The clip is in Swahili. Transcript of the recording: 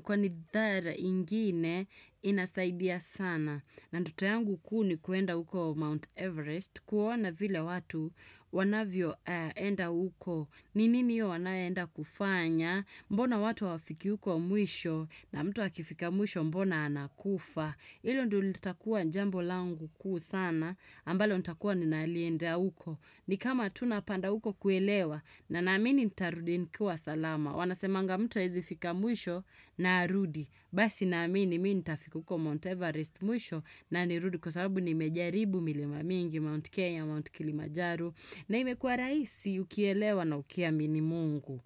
kwa nidhara ingine inasaidia sana. Ndoto yangu kuu ni kuenda uko Mount Everest kuona vile watu wanavyo enda uko. Ninini hiyo wanayoenda kufanya, mbona watu hawafiki uko mwisho na mtu akifika mwisho mbona anakufa. Ilo ndo litakua njambo langu kuu sana ambalo nitakuwa ninalienda uko. Ni kama tunapanda uko kuelewa na naamini nitarudi nikiwa salama. Wanasemanga mtu haezi fika mwisho na arudi. Basi naamini mii nitafika uko Mount Everest mwisho na ni rudi kwa sababu ni mejaribu milima mingi Mount Kenya, Mount Kilimajaru. Na imekua raisi ukielewa na ukia mini mungu.